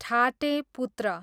ठाटे पुत्र